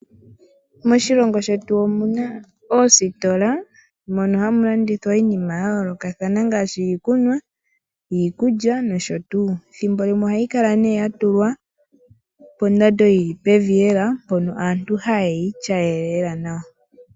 Moshilongo shetu omuna oositola mono hamu landithwa iinima yayoolokathana ngaashi, iikunwa, nosho tuu. Ethimbo limwe ohayi kala nee yatulwa pondando yili pevi lela mpono aantu ha ye yi ituayele lela nawa.